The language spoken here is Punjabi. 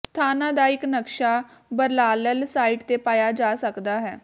ਸਥਾਨਾਂ ਦਾ ਇੱਕ ਨਕਸ਼ਾ ਬਰਲਾਲੈੱਲ ਸਾਈਟ ਤੇ ਪਾਇਆ ਜਾ ਸਕਦਾ ਹੈ